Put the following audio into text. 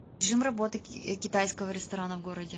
режим работы китайского ресторана в городе